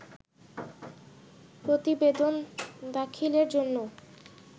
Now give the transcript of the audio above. প্রতিবেদন দাখিলের জন্য